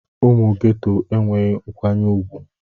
Ụmụ Geto enweghị nkwanye ùgwù.